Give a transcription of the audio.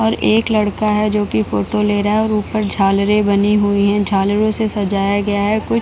और एक लड़का है जो कि फोटो ले रहा है और ऊपर झालरे बनी हुई है झालरो से सजाया गया है कुछ --